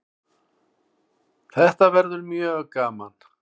Þetta verður mjög gaman